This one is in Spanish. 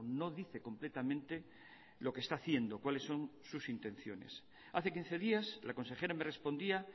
no dice completamente lo que está haciendo cuáles son sus intenciones hace quince días la consejera me respondía